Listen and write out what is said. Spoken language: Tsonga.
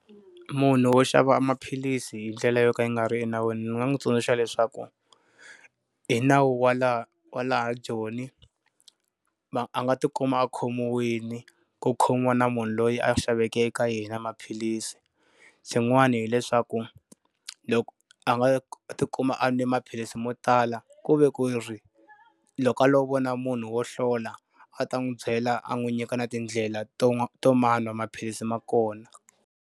Munhu wo xava maphilisi hi ndlela yo ka yi nga ri enawini ni nga n'wi tsundzuxa leswaku, hi nawu wa laha wa la Joni, ma a nga ti kuma a khomiwile ku khomiwa na munhu loyi a xaveke eka yena maphilisi. Xin'wani hileswaku loko a nga ti kuma a nwe maphilisi mo tala, ku ve ku ri loko a lo vona munhu wo hlola a ta n'wi byela a n'wi nyika na tindlela to to manwa maphilisi ma kona.